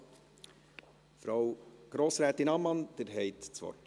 Also, Grossrätin Ammann, Sie haben das Wort.